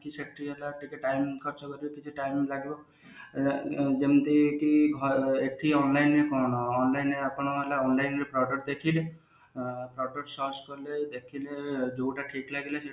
ସେଠି ହେଲା ଟିକେ down ଖର୍ଚ କରିବାକୁ ଟିକେ down ଲାଗିବ ଯେମତି କି ଘରେ ଏଠି online କଣ online ଆପଣ ହେଲା online ରେ product ଦେଖି ଅ product search କଲେ ଦେଖିଲେ ଯୋଉଟା ଠିକ ଲାଗିଲା ସେଟା